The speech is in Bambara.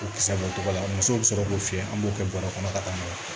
U kisɛ bɔcogo la musow be sɔrɔ k'o fiyɛ an b'o kɛ bɔrɛ kɔnɔ ka taa n'a ye